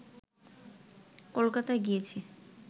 কলকাতা গিয়েছে